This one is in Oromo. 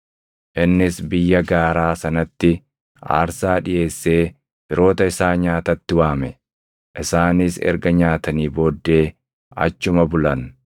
Innis biyya gaaraa sanatti aarsaa dhiʼeessee firoota isaa nyaatatti waame. Isaanis erga nyaatanii booddee achuma bulan.